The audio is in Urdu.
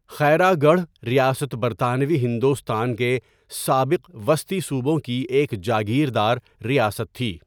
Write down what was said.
خیرا گڑھ ریاست برطانوی ہندوستان کے سابق وسطی صوبوں کی ایک جاگیردار ریاست تھی۔